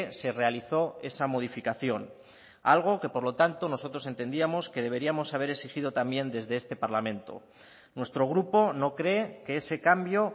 se realizó esa modificación algo que por lo tanto nosotros entendíamos que deberíamos haber exigido también desde este parlamento nuestro grupo no cree que ese cambio